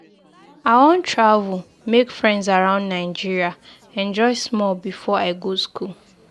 I wan travel, make friends around Nigeria, enjoy small before I go school.